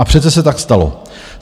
A přece se tak stalo.